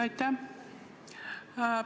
Aitäh!